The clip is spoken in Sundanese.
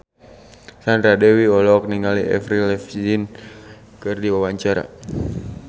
Sandra Dewi olohok ningali Avril Lavigne keur diwawancara